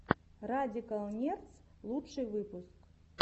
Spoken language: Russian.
радикал нердс лучший выпуск